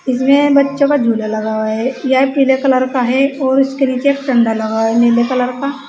इसमें बच्चों का झूला लगा हुआ है यह पीले कलर का है और इसके नीचे एक डंडा लगा हुआ है नीले कलर का।